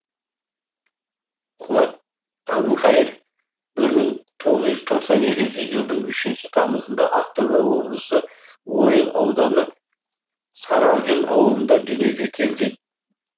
қуат әбілқайыр бір мың тоғыз жүз тоқсан екінші жылдың үшінші тамызында ақтөбе облысы ойыл ауданы саралжын ауылында дүниеге келген